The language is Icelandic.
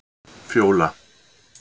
Fjóla